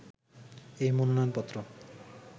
এই মনোনয়ন পত্র